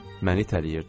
Məni itələyirdi.